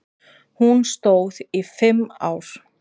Hún stóð í fimm ár.